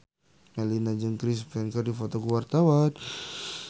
Melinda jeung Chris Pane keur dipoto ku wartawan